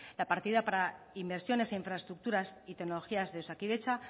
la partida para inversiones e infraestructuras y tecnologías de osakidetza